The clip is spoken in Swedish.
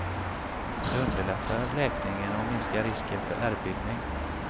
Det underlättar läkningen och minskar risken för ärrbildning.